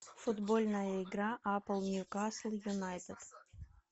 футбольная игра апл ньюкасл юнайтед